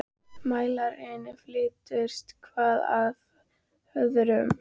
Mælarnir fylltust, hver af öðrum- og fylltust oft.